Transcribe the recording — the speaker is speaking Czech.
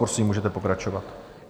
Prosím, můžete pokračovat.